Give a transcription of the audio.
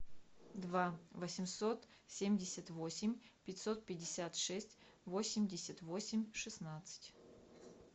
два восемьсот семьдесят восемь пятьсот пятьдесят шесть восемьдесят восемь шестнадцать